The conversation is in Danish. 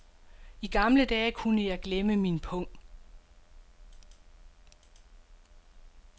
I gamle dage kunne jeg glemme min pung.